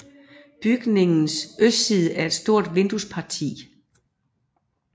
Bygningens østside er et stort vinduesparti